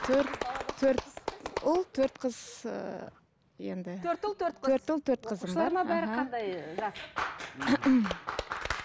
төрт төрт ұл төрт қыз ыыы енді төрт ұл төрт қыз төрт ұл төрт қызым бар оқушылар ма қандай ыыы жас